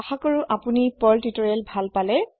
আশা কৰো আপোনি পাৰ্ল তিউতৰিয়েল ভাল পালে